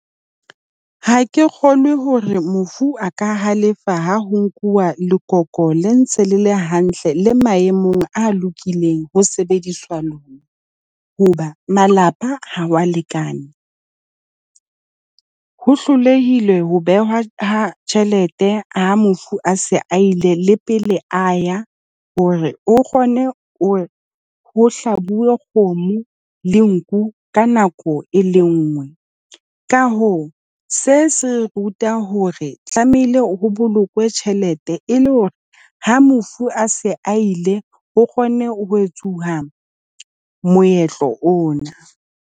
Ha ke kgolwe hore mofu a ka halefa ha ho nkuwa lekoko le ntse le le hantle le maemong a lokileng ho sebediswa lona, hoba malapa ha wa lekane. Ho hlolehile ho behwa ha tjhelete ha mofu a se a ile la pele a ya hore o kgone ho ho hlabuwe kgomo le nku ka nako e le nngwe. Ka hoo se se ruta hore tlamehile ho bolokwe tjhelete, e le hore ha mofu a se a ile ho kgone ho etsuwa moetlo ona.